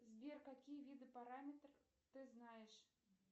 сбер какие виды параметров ты знаешь